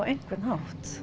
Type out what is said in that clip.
einhvern hátt